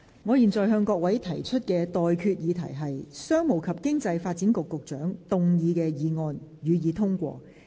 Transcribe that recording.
我現在向各位提出的待決議題是：商務及經濟發展局局長動議的議案，予以通過。